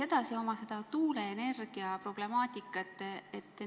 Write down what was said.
Aga ma küsin tuuleenergia problemaatika kohta.